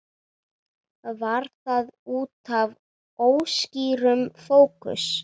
Var það útaf óskýrum fókus?